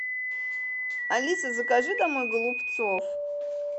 алиса закажи домой голубцов